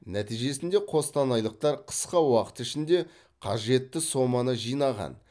нәтижесінде қостанайлықтар қысқа уақыт ішінде қажетті соманы жинаған